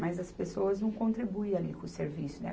mas as pessoas não contribuem ali com o serviço, né?